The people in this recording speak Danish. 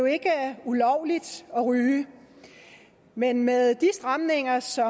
ikke er ulovligt at ryge men med de stramninger som